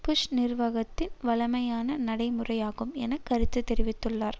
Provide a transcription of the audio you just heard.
push நிர்வாகத்தின் வழமையான நடைமுறையாகும் என கருத்து தெரிவித்துள்ளார்